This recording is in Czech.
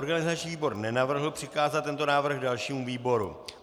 Organizační výbor nenavrhl přikázat tento návrh dalšímu výboru.